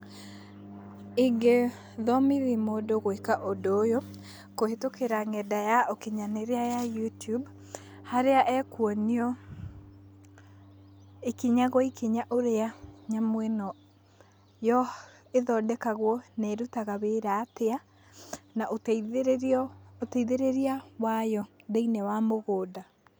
Ingĩthomithi mũndũ gwĩka ũndũ ũyũ kũhĩtũkĩra nenda ya ũkinyanĩria ya YouTube, harĩa akwonio ikinya gwa ikinya ũrĩa nyamũ ĩnoĩthondekagwo, na ĩrutaga wĩra atĩa na ũteithĩrĩrio, ũteithĩrĩria wayo thĩiniĩ wa mũgũnda.